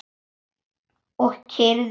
Og kyrrðin algjör.